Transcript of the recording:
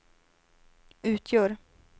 utgör